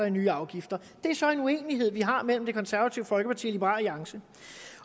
i nye afgifter det er så en uenighed vi har mellem det konservative folkeparti og liberal alliance